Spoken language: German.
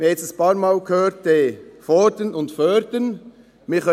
Wir haben jetzt ein paar Mal «fordern und fördern» gehört.